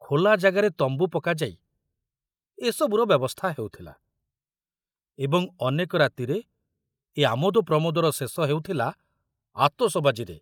ଖୋଲା ଜାଗାରେ ତମ୍ବୁ ପକାଯାଇ ଏ ସବୁର ବ୍ୟବସ୍ଥା ହେଉଥିଲା ଏବଂ ଅନେକ ରାତିରେ ଏ ଆମୋଦ ପ୍ରମୋଦର ଶେଷ ହେଉଥିଲା ଆତସବାଜିରେ।